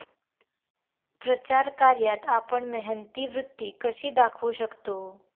प्रचार कार्यात आपण मेहनती वृत्ती कशी दाखवू शकतो?